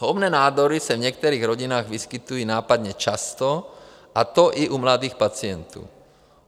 Zhoubné nádory se v některých rodinách vyskytují nápadně často, a to i u mladých pacientů.